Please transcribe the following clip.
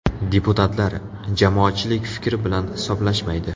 Deputatlar, jamoatchilik fikri bilan hisoblashmaydi.